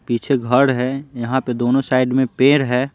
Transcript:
पीछे घर है यहाँ पे दोनों साइड में पेड़ है।